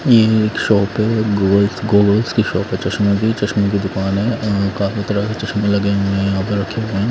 ये एक शॉप है गोगल्स गोगल्स की शॉप है चस्मो की चश्मे की दूकान है यहाँ काफी तरह कर चश्मे लगे हुए है यहाँ पे रखे ।